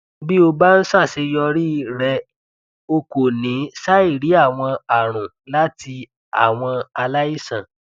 bí o bá ń ṣàṣeyọrí rẹ o kò ní ṣàìrí àwọn àrùn láti àwọn aláìsàn